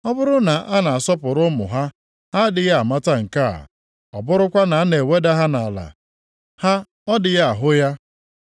Ọ bụrụ na a na-asọpụrụ ụmụ ha, ha adịghị amata nke a; ọ bụrụkwa na a na-eweda ha nʼala, ha ọ dịghị ahụ ya.